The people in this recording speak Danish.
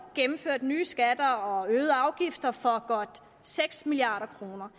gennemført nye skatter og øgede afgifter for godt seks milliard kroner